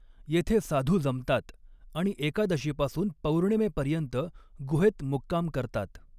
येथे साधू जमतात आणि एकादशीपासून पौर्णिमेपर्यंत गुहेत मुक्काम करतात.